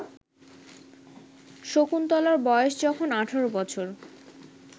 শকুন্তলার বয়স যখন ১৮ বছর